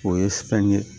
O ye fɛn ye